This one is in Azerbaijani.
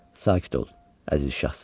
Sakit ol, əziz şahzadəm.